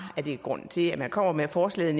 er grunden til at man kommer med forslaget